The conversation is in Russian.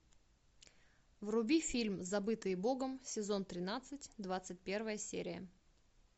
вруби фильм забытые богом сезон тринадцать двадцать первая серия